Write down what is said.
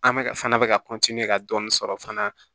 An bɛ fana bɛ ka ka dɔɔni sɔrɔ fana